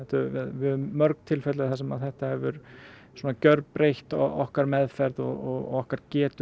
við höfum mörg tilfelli þar sem þetta hefur gjörbreytt okkar meðferð og okkar getu